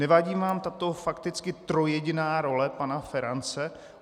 Nevadím vám tato fakticky trojjediná role pana Ferance?